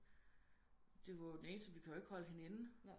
Det var jo den eneste vi kunne ikke holde hende inde